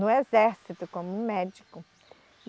no exército, como médico.